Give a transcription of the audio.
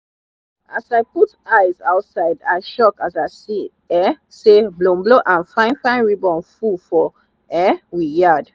as i put eyes outside i shock as i see um say bolombolom and fine fine ribbon full for um we yard